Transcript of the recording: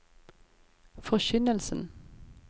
forkynnelsen